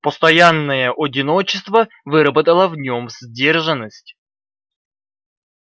постоянное одиночество выработало в нём сдержанность